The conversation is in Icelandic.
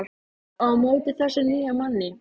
Magdalena, hvernig kemst ég þangað?